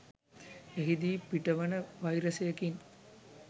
එහීදි පිටවන වයිරසයකින්